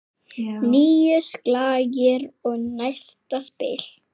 Níu slagir og næsta spil.